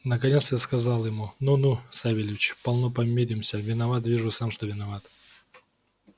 наконец я сказал ему ну ну савельич полно помиримся виноват вижу сам что виноват